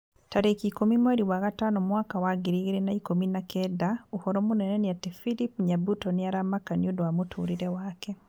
Tarĩki ikũmi mweri wa gatano mwaka wa ngiri igĩrĩ na ikũmi na kenda ũhoro mũnene nĩ ati philip nyabuto nĩ aramaka nĩũndũ wa mũtũrĩre wake